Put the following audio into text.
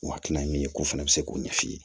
O hakilina ye min ye k'o fana bɛ se k'o ɲɛf'i ye